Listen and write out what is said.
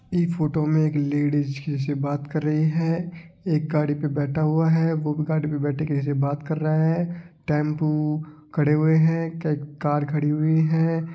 इ फोटो में एक लेडीज किसी से बात कर रही है एक गाड़ी पे बेठा हुआ है वो भी गाड़ी पे बैठे किसी के साथ बात कर रहा है टेम्पो खडे हुए है कही कार खड़ी हुई है।